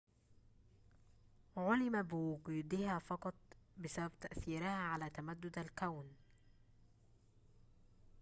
عُلم بوجودها فقط بسبب تأثيرها على تمدد الكون